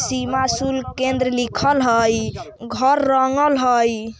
सीमा शुल्क केंद्र लिखल हई घर रंगल हई।